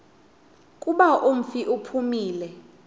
kuba umfi uphumile